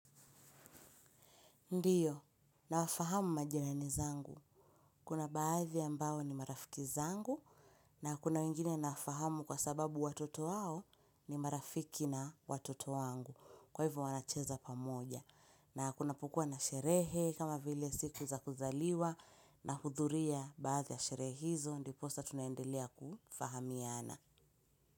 Ndio, nawafahamu majirani zangu. Kuna baadhi ambao ni marafiki zangu. Na kuna wengine nafahamu kwa sababu watoto wao ni marafiki na watoto wangu kwa hivyo wanacheza pamoja. Na kunapokuwa na sherehe kama vile siku za kuzaliwa nahudhuria baadhi ya sherehe hizo ndiposa tunaendelea kufahamiana.